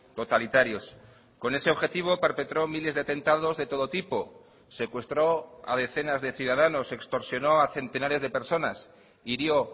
totalitarios con ese objetivo perpetró miles de atentados de todo tipo secuestró a decenas de ciudadanos extorsionó a centenares de personas hirió